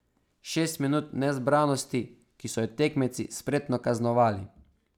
Šest minut nezbranosti, ki so jo tekmeci spretno kaznovali.